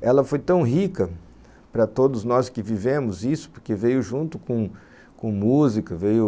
ela foi tão rica para todos nós que vivemos isso, porque veio junto com com música, veio